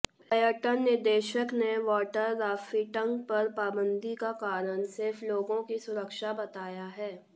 पर्यटन निदेशक ने वाटर राफ्टिंग पर पाबंदी का कारण सिर्फ लोगों की सुरक्षा बताया है